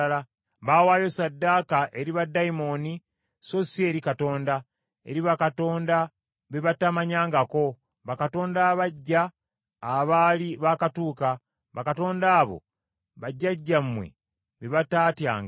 Baawaayo ssaddaaka eri baddayimooni, so si eri Katonda, eri bakatonda be batamanyangako, bakatonda abaggya abaali baakatuuka bakatonda abo bajjajjammwe be bataatyanga.